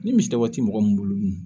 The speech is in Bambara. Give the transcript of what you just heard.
Ni misi tɛ waati mɔgɔ mun bolo dun